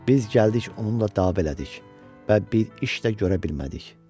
Biz gəldik onunla dava elədik və bir iş də görə bilmədik.